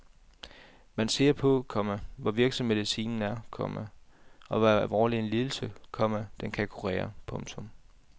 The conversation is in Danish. Man ser på, komma hvor virksom medicinen er, komma og hvor alvorlig en lidelse, komma den kan kurere. punktum